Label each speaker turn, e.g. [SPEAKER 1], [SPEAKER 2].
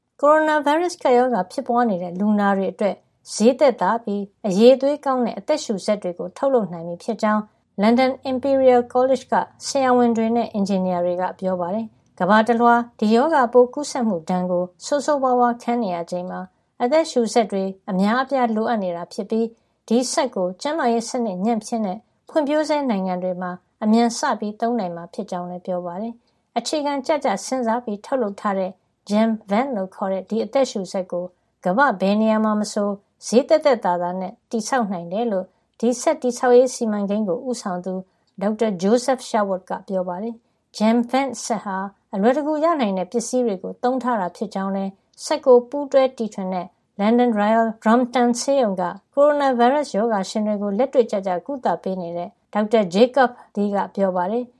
[SPEAKER 1] ကိုရိုနာဗိုင်းရပ်စ် ကပ်ရောဂါဖြစ်ပွားနေတဲ့ လူနာတွေအတွက် ဈေးသက်သာပြီး အရည်သွေးကောင်းတဲ့ အသက်ရှုစက်တွေ ထုတ်နိုင်ပြီဖြစ်ကြောင်း လန်ဒန် Imperial College က ဆရာဝန်တွေနဲ့ အင်ဂျင်နီယာတွေက ပြောပါတယ်။ ကမ္ဘာတလွှား ဒီရောဂါပိုး ကူးစက်မှုဒဏ် ဆိုးဆိုးဝါးဝါး ခံနေရချိန်မှာ အသက်ရှုစက်တွေ အများအပြား လိုအပ်နေတာ ဖြစ်ပြီး ဒီစက်ကို ကျန်းမာရေးစနစ်ညံ့ဖျင်းတဲ့ ဖွံ့ဖြိုးဆဲ နိုင်ငံတွေမှာ အမြန်စသုံးနိုင်မှာ ဖြစ်ကြောင်းလည်း ပြောပါတယ်။ အခြေခံကျကျ စဉ်းစားပြီးထုတ်လုပ်ထားတဲ့ JamVent လို့ခေါ်တဲ့ ဒီအသက်ရှုစက်ကို ကမ္ဘာ့ ဘယ်နေရာမှာ မဆို ဈေးသက်သက်သာသာနဲ့ ဆောက်လုပ်နိုင်တယ်လို့ ဒီစက်တည်ဆောက်ရေး စီမံကိန်းကို ဦးဆောင်သူ Dr. Joseph Sherwood ကပြောပါတယ်။ JamVent စက်ဟာ အလွယ်တကူ ရနိုင်တဲ့ ပစ္စည်းတွေကို သုံးထားတာဖြစ်ကြောင်းလည်း စက်ကို ပူးတွဲတီထွင်တဲ့ လန်ဒန် Royal Brompton ဆေးရုံက ကိုရိုနာဗိုင်းရပ်စ် ရောဂါရှင်တွေကို လက်တွေ့ကျကျ ကုသပေးနေတဲ့ Dr. Jakob Mathiszig-Lee ကပြောပါတယ်။